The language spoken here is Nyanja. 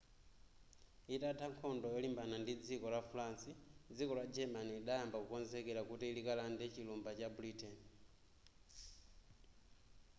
itatha nkhondo yolimbana ndi dziko la france dziko la german lidayamba kukonzekera kuti likalande chilumba cha britain